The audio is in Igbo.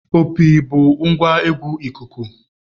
Opi bụ ngwa egwu ikuku.